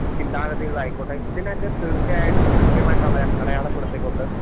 ചിന്താഗതികളായിക്കോട്ടെ ഇതിനെയൊക്കെ തീർച്ചയായിട്ടും കൃത്യമായിട്ടള അടയാളപ്പെടുത്തികൊണ്ട്